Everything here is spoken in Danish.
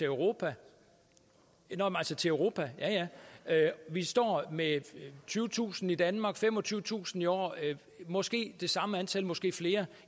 europa europa vi står med tyvetusind i danmark femogtyvetusind i år måske det samme antal måske flere